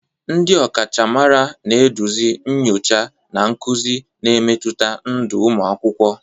Ndị ọkachamara na-eduzi nyocha na nkuzi, na-emetụta ndụ ụmụ akwụkwọ.